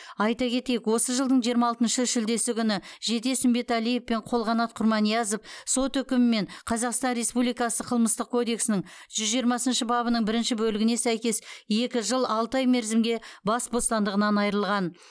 айта кетейік осы жылдың жиырма алтыншы шілдесі күні жетес үмбетәлиев пен қолқанат құрманиязов сот үкімімен қазақстан республикасы қылмыстық кодексінің жүз жиырмасыншы бабының бірінші бөлігіне сәйкес екі жыл алты ай мерзімге бас бостандығынан айырылған